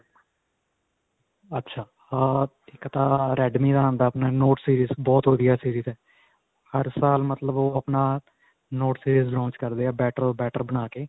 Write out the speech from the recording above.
ਅੱਛਾ. ਹਾਂ ਇੱਕ ਤਾਂ redme ਦਾ ਆਉਂਦਾ, ਆਪਣਾ note-series ਬਹੁਤ ਵਧੀਆ series ਹੈ. ਹਰ ਸਾਲ ਮਤਲਬ ਓਹ ਆਪਣਾ note series launch ਕਰਦੇ ਹੈ, better ਓ better ਬਣਾਕੇ.